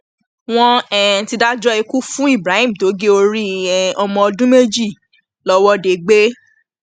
wọn um ti dájọ ikú fún ibrahim tó gé orí um ọmọ ọdún méjì lọwọdeẹgbẹ